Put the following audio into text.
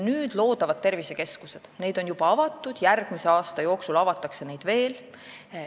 Nüüd luuakse tervisekeskusi, neid on juba avatud, järgmise aasta jooksul avatakse neid veel.